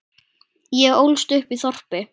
Ég ólst upp í þorpi.